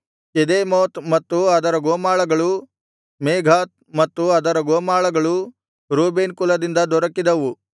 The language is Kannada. ಕೆದೇಮೋತ್ ಮತ್ತು ಅದರ ಗೋಮಾಳಗಳು ಮೇಫಾತ್ ಮತ್ತು ಅದರ ಗೋಮಾಳಗಳು ರೂಬೇನ್ ಕುಲದಿಂದ ದೊರಕಿದವು